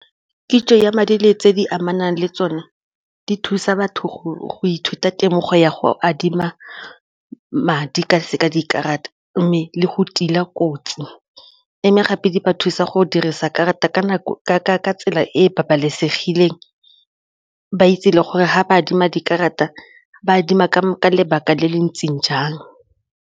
Kitso ya madi le tse di amanang le tsone di thusa batho go ithuta temo go ya go adima madi ka dikarata mme le go tila kotsi gape di ba thusa go dirisa karata ka tsela e e babalesegileng, ba itse le gore ga ba adima dikarata ba adima ka lebaka le le ntseng jang.